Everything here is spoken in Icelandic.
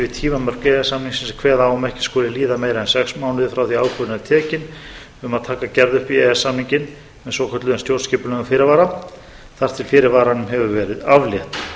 sem kveða á um að ekki skuli líða meira en sex mánuðir frá því að ákvörðun er tekin um að taka gerð upp í e e s samninginn með svokölluðum stjórnskipulegum fyrirvara þar til fyrirvaranum hefur verið aflétt